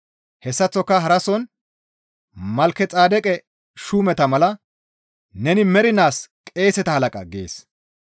Hessaththoka harason «Malkexeedeqe shuumeta mala neni mernaas qeeseta halaqa» gees.